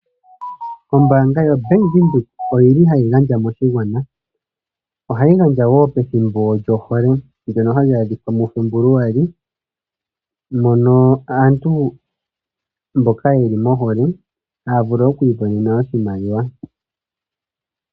Ombaanga yo bank Windhoek oyili hayi gandja moshigwana ,ohayi gandja wo pethimbo lyohole ndjono hali adhika muFebuluali mono aantu mboka yeli mohole haa vulu okwiimonena oshimaliwa.